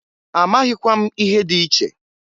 Amaghịkwa m ihe dị iche.